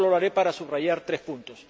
solo lo haré para subrayar tres puntos.